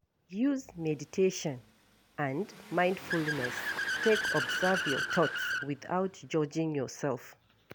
Use meditation and mindfulness take observe your thought without judging yourself